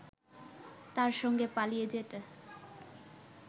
তার সঙ্গে পালিয়ে যেতে